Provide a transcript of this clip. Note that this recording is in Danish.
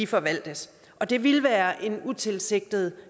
forvaltes det ville være en utilsigtet